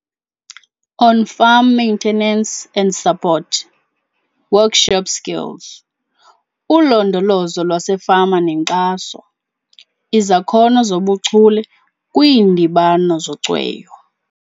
On Farm Maintenance and Support, Workshop Skills - Ulondolozo lwaseFama neNkxaso, Izakhono zobuChule kwiiNdibano zoCweyo.